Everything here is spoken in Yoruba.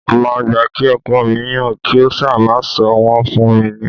Mo máa gbà kí ọkọ mi yan kí ó ṣáá máa sọ wọn fún mi ni